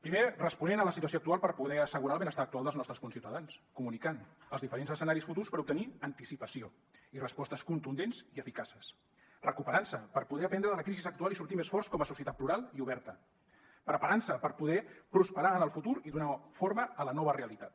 primer responent a la situació actual per poder assegurar el benestar actual dels nostres conciutadans comunicant els diferents escenaris futurs per obtenir anticipació i respostes contundents i eficaces recuperant se per poder aprendre de la crisi actual i sortir més forts com a societat plural i oberta preparant se per poder prosperar en el futur i donar forma a la nova realitat